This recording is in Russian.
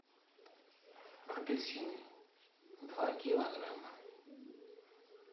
апельсины два килограмма